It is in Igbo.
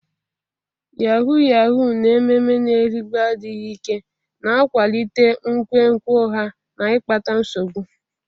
Yahuu yahuu na ememe na-erigbu adịghị ike, na-akwalite nkwenkwe ụgha na ikpata nsogbu.